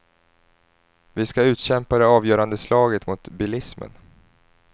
Vi ska utkämpa det avgörande slaget mot bilismen.